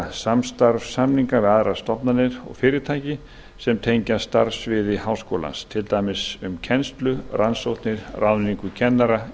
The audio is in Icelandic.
samstarfssamninga við aðrar stofnanir og fyrirtæki sem tengjast starfssviði háskólans til dæmis um kennslu rannsóknir og ráðningu kennara